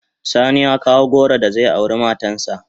Sani ya kawo goro da zai aure matan sa.